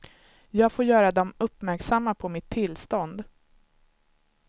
Jag får göra dem uppmärksamma på mitt tillstånd.